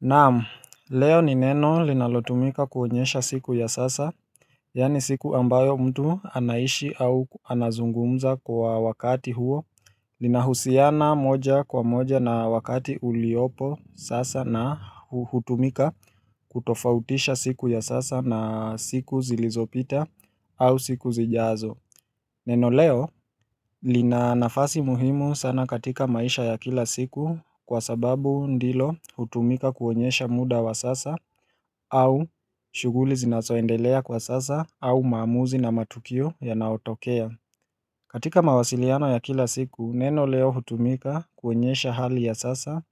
Naam, leo ni neno linalotumika kuonyesha siku ya sasa Yaani siku ambayo mtu anaishi au anazungumza kwa wakati huo Linahusiana moja kwa moja na wakati uliopo sasa na hutumika kutofautisha siku ya sasa na siku zilizopita au siku zijazo Neno leo lina nafasi muhimu sana katika maisha ya kila siku kwa sababu ndilo hutumika kuonyesha muda wa sasa au shughuli zinazoendelea kwa sasa au maamuzi na matukio yanaotokea. Katika mawasiliano ya kila siku neno leo hutumika kuonyesha hali ya sasa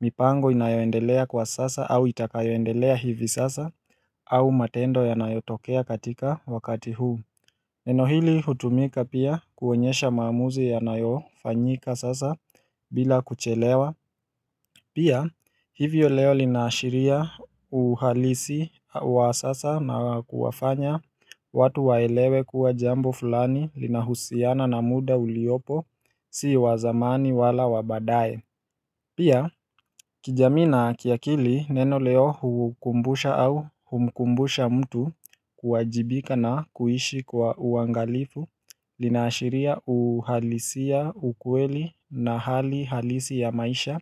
mipango inayoendelea kwa sasa au itakayoendelea hivi sasa au matendo yanayotokea katika wakati huu Neno hili hutumika pia kuonyesha maamuzi yanayofanyika sasa bila kuchelewa Pia hivyo leo lina ashiria uhalisi wa sasa na kuwafanya watu waelewe kuwa jambo fulani linahusiana na muda uliopo, si wa zamani wala wa baadae Pia kijamii na kiakili neno leo hukumbusha au humkumbusha mtu kuwajibika na kuishi kwa uangalifu lina ashiria uhalisia, ukweli na hali halisi ya maisha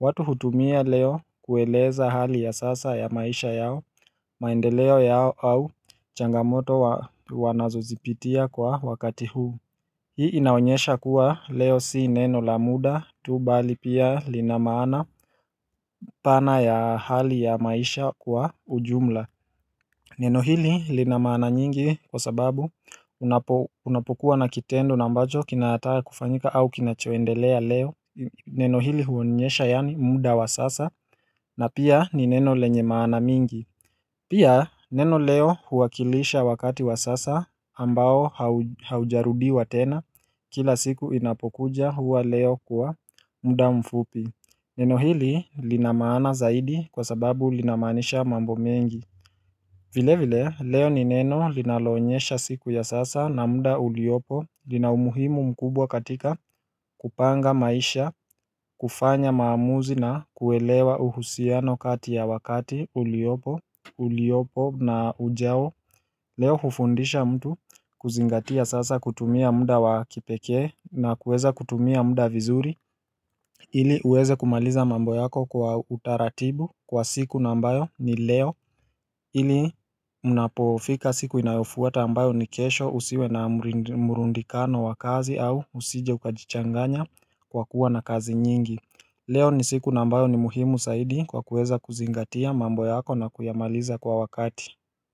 watu hutumia leo kueleza hali ya sasa ya maisha yao maendeleo yao au changamoto wanazozipitia kwa wakati huu Hii inaonyesha kuwa leo si neno la muda tu bali pia lina maana pana ya hali ya maisha kwa ujumla Neno hili lina maana nyingi kwa sababu unapokuwa na kitendo na ambacho kinataka kufanyika au kinachoendelea leo Neno hili huonyesha yaani muda wa sasa na pia ni neno lenye maana mingi Pia neno leo huwakilisha wakati wa sasa ambao haujarudiwa tena. Kila siku inapokuja huwa leo kuwa muda mfupi Neno hili lina maana zaidi kwa sababu linamaanisha mambo mengi vile vile leo ni neno linaloonyesha siku ya sasa na muda uliopo lina umuhimu mkubwa katika kupanga maisha, kufanya maamuzi na kuelewa uhusiano kati ya wakati uliopo na ujao Leo hufundisha mtu kuzingatia sasa kutumia muda wa kipekee na kuweza kutumia muda vizuri ili uweze kumaliza mambo yako kwa utaratibu kwa siku na ambayo ni leo ili mnapofika siku inayofuata ambayo ni kesho, usiwe na murundikano wa kazi au usije ukajichanganya kwa kuwa na kazi nyingi Leo ni siku na ambayo ni muhimu zaidi kwa kuweza kuzingatia mambo yako na kuyamaliza kwa wakati.